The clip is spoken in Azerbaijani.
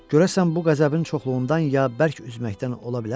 Görəsən bu qəzəbin çoxluğundan ya bərk üzməkdən ola bilərmi?